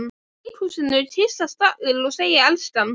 Í leikhúsinu kyssast allir og segja elskan.